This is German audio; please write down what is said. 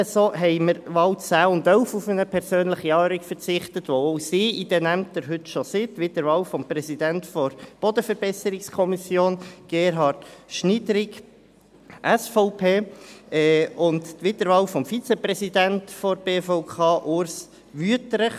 Ebenso haben wir bei den Wahlen 10 und 11 auf eine persönliche Anhörung verzichtet, weil auch sie heute schon in diesen Ämtern sind: Wiederwahl des Präsidenten der Bodenverbesserungskommission (BVK), Gerhard Schnidrig (SVP), und Wiederwahl des Vizepräsidenten der BVK, Urs Wüthrich.